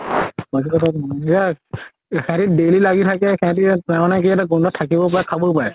সেইয়া সিহঁতে daily লাগি থাকে, সিহঁতে থাকিব পাৰে খাবও পাৰে